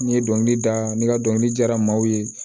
N'i ye dɔnkili da ne ka dɔnkili diyara maaw ye